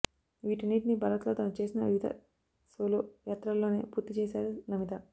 వీటన్నిటినీ భారత్లో తను చేసిన వివిధ సోలో యాత్రల్లోనే పూర్తి చేశారు నమిత